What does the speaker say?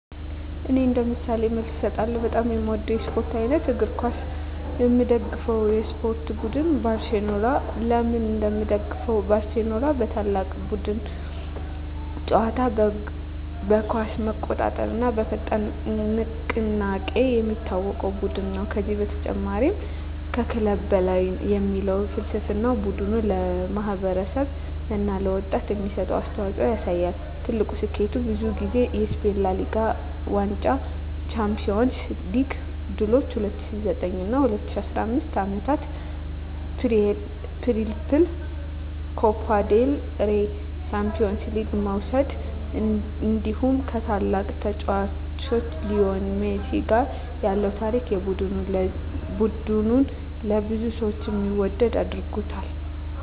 እኔ እንደ ምሳሌ መልስ እሰጣለሁ፦ በጣም የምወደው የስፖርት አይነት: እግር ኳስ (Football) የምደግፈው የስፖርት ቡድን: ባርሴሎና (FC Barcelona) ለምን እንደምደግፈው: ባርሴሎና በታላቅ የቡድን ጨዋታ (tiki-taka)፣ በኳስ መቆጣጠር እና በፈጣን ንቅናቄ የሚታወቅ ቡድን ነው። ከዚህ በተጨማሪ “Mes que un club” (ከክለብ በላይ) የሚል ፍልስፍናው ቡድኑ ለማህበረሰብ እና ለወጣቶች የሚሰጠውን አስተዋፅኦ ያሳያል። ትልቁ ስኬቱ: ብዙ ጊዜ የስፔን ላ ሊጋ ዋንጫ የUEFA ቻምፒዮንስ ሊግ ድሎች በ2009 እና 2015 ዓመታት “ትሪፕል” (ላ ሊጋ፣ ኮፓ ዴል ሬይ፣ ቻምፒዮንስ ሊግ) መውሰድ እንዲሁ ከታላቁ ተጫዋች ሊዮኔል ሜሲ ጋር ያለው ታሪክ ቡድኑን ለብዙ ሰዎች የሚወደድ አድርጎታል።